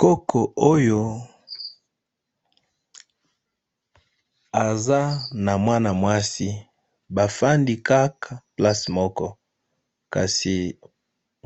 Koko oyo aza namwana mwasi